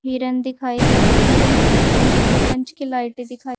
किरन दिखाई दे रही है और ये दो कंच की लाइट भी दिखाई--